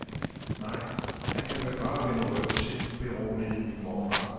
Nej, han kan vel bare vende ryggen til, beroligede min morfar.